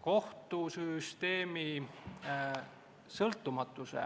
Kohtusüsteemi sõltumatuse